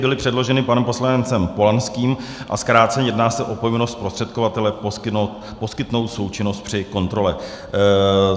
Byly předloženy panem poslancem Polanským, a krátce, jedná se o povinnost zprostředkovatele poskytnout součinnost při kontrole.